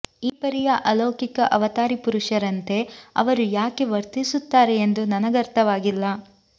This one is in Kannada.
ಈ ಪರಿಯ ಅಲೌಕಿಕ ಅವತಾರಿ ಪುರುಷರಂತೆ ಅವರು ಯಾಕೆ ವರ್ತಿಸುತ್ತಾರೆ ಎಂದು ನನಗರ್ಥವಾಗಿಲ್ಲ